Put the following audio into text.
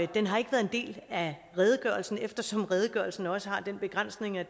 den har ikke været en del af redegørelsen eftersom redegørelsen også har den begrænsning at